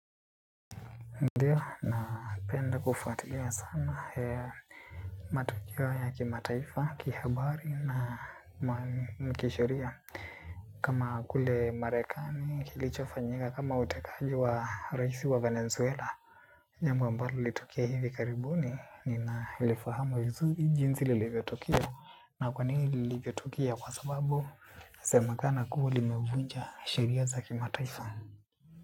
Ndiyo napenda kufatilia sana ya matukeo ya kimataifa, kihabari na kisheria. Kama kule marekani kilichofanyika kama utekaji wa raisi wa Venezuela jambo ambalo lilitokea hivi karibuni ninalifahamu vizuri jinsi lilivyotokea. Na kwa nini lilitokea kwa sababu inasemakana kuwa limevunja sheria za kimataifa.